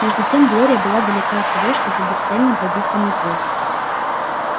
между тем глория была далека от того чтобы бесцельно бродить по музею